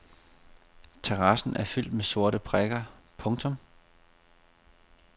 Terrassen er fyldt med sorte prikker. punktum